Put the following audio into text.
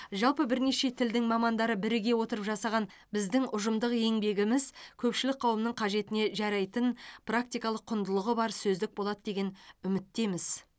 жалпы бірнеше тілдің мамандары біріге отырып жасаған біздің ұжымдық еңбегіміз көпшілік қауымның қажетіне жарайтын практикалық құндылығы бар сөздік болады деген үміттеміз